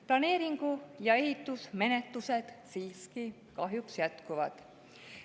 Planeeringu‑ ja ehitusmenetlused siiski kahjuks jätkuvad.